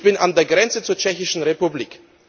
Ich bin an der Grenze zur Tschechischen Republik.